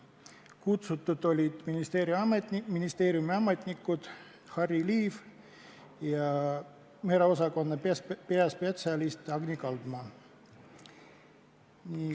Kutsutud olid ministeeriumi ametnikud Harry Liiv ja merekeskkonna osakonna peaspetsialist Agni Kaldma.